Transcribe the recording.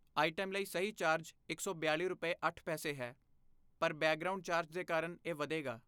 item ਲਈ ਸਹੀ charge ਇਕ ਸੌ ਬਿਆਲ਼ੀ ਰੁਪਏ ਅੱਠ ਪੈਸੇ, ਹੈ, ਪਰ ਬੈਕਗ੍ਰਾਉਂਡ ਚਾਰਜ ਦੇ ਕਾਰਨ ਇਹ ਵਧੇਗਾ